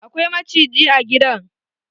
Akwai maciji a gidan